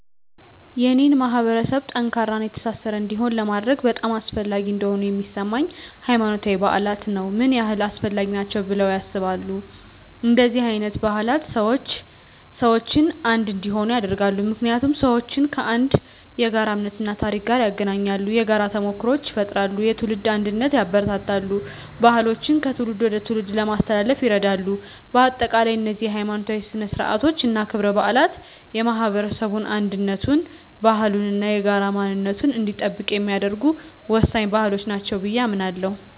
የኔን ማህበረሰብ ጠንካራና የተሳሰረ እንዲሆን ለማድረግ በጣም አስፈላጊ እንደሆኑ የሚሰማኝ፦ ** ሃይማኖታዊ በዓላት ነው **ምን ያህል አስፈላጊ ናቸው ብለው ያስባሉ? እንደነዚህ አይነት በዓላት ሰዎችን አንድ እንዲሆኑ ያደርጋሉ። ምክንያቱም ሰዎችን ከአንድ የጋራ እምነት እና ታሪክ ጋር ያገናኛሉ። የጋራ ተሞክሮዎችን ይፈጥራሉ፣ የትውልድ አንድነትን ያበረታታሉ፣ ባህሎችን ከትውልድ ወደ ትውልድ ለማስተላለፍ ይረዳሉ። በአጠቃላይ፣ እነዚህ ሀይማኖታዊ ሥነ ሥርዓቶች እና ክብረ በዓላት የማህበረሰቡን አንድነቱን፣ ባህሉን እና የጋራ ማንነቱን እንዲጠብቅ የሚያደርጉ ወሳኝ ባህሎች ናቸው ብየ አምናለሁ።